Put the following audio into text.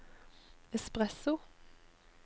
espresso